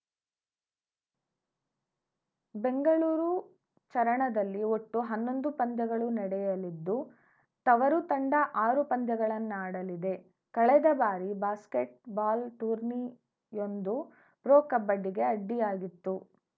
ಬೆಂಗಳೂರು ಚರಣದಲ್ಲಿ ಒಟ್ಟು ಹನ್ನೊಂದು ಪಂದ್ಯಗಳು ನಡೆಯಲಿದ್ದು ತವರು ತಂಡ ಆರು ಪಂದ್ಯಗಳನ್ನಾಡಲಿದೆ ಕಳೆದ ಬಾರಿ ಬಾಸ್ಕೆಟ್‌ಬಾಲ್‌ ಟೂರ್ನಿಯೊಂದು ಪ್ರೊ ಕಬಡ್ಡಿಗೆ ಅಡ್ಡಿಯಾಗಿತ್ತು